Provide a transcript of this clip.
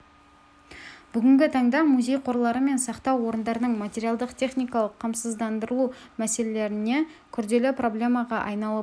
бүгінгі таңда музей қорлары мен сақтау орындарының материалдық-техникалық қамсыздандырылу мәселелері күрделі проблемаға айналып отыр еліміздегі барлық